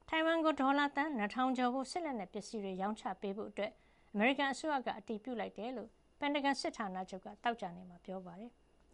ထိုင်ဝမ်ကို ဒေါ်လာ သန်း ၂ ထောင်ကျော်ဖိုး စစ်လက်နက် ပစ္စည်းတွေ ရောင်းချပေးဖို့ အမေရိကန်အစိုးရက အတည်ပြုလိုက်တယ်လို့ ပင်တဂွန် စစ်ဌာနချုပ်က သောကြာနေ့မှာ ပြောပါတယ်။